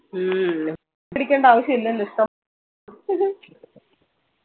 ഹ്മ്മ്മ് പിടിക്കേണ്ട ആവശ്യോ ല്ലല്ലോ